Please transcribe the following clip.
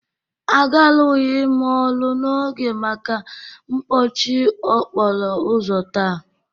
Agarughi m ọrụ n'oge maka mpọchị okporo ụzọ taa